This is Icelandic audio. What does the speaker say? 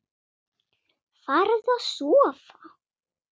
Farðu að sofa.